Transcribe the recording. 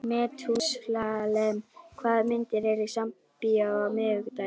Methúsalem, hvaða myndir eru í bíó á miðvikudaginn?